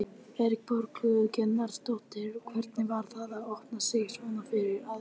Erla Björg Gunnarsdóttir: Hvernig var það að opna sig svona fyrir alþjóð í þessu átaki?